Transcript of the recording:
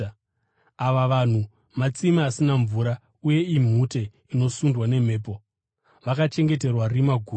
Ava vanhu matsime asina mvura uye imhute inosundwa nemhepo. Vakachengeterwa rima guru.